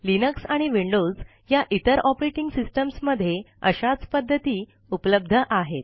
Linux आणि Windows या इतर ऑपरेटिंग सिस्टिम्स मधे अशाच पद्धती उपलब्ध आहेत